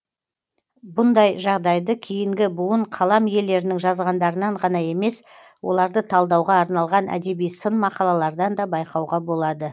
бұндай жағдайды кейінгі буын қалам иелерінің жазғандарынан ғана емес оларды талдауға арналған әдеби сын мақалалардан да байқауға болады